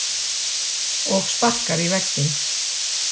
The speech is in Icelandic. Og sparkar í vegginn.